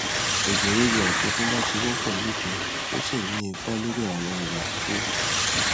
ẹjẹ ríru àjọgúnbá ti wọpọ lóde òní tó sì ń ní ipa lórí àwọn irọ kékèèké